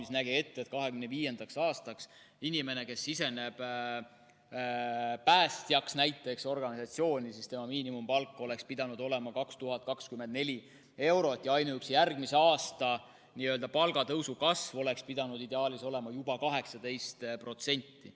See nägi ette, et 2025. aastaks inimesel, kes siseneb organisatsiooni, hakkab päästjaks, on miinimumpalk 2024 eurot, ja ainuüksi järgmise aasta palgatõusu kasv oleks pidanud ideaalis olema juba 18%.